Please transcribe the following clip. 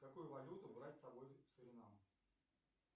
какую валюту брать с собой в суринам